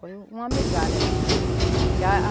Foi um uma migalha mesmo, que a